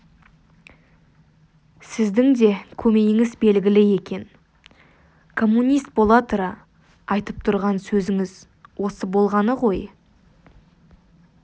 сіздің де көмейіңіз белгілі екен коммунист бола тұра айтып тұрған сөзіңіз осы болғаны ғой